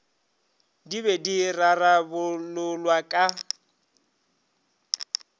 di be di rarabololwa ka